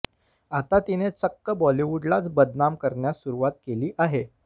आता तिने चक्क बॉलीवुडलाच बदनाम करण्यास सुरुवात केली आहे